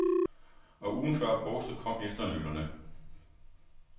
Og ugen før påske kom efternølerne.